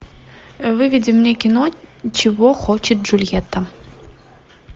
выведи мне кино чего хочет джульетта